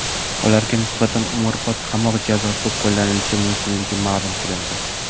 Ularga nisbatan umrbod qamoq jazosi qo‘llanilishi mumkinligi ma’lum qilindi.